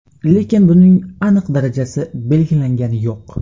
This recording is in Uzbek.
Lekin buning aniq darajasi belgilangani yo‘q.